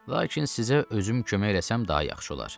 Lakin sizə özüm kömək eləsəm daha yaxşı olar.